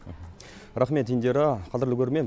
рақмет индира қадірлі көрермен